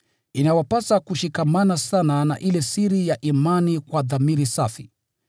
Inawapasa kushikamana sana na ile siri ya imani kwa dhamiri safi.